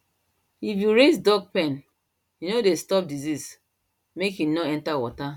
if you raised duck pen e dey stop disease make e nor enter water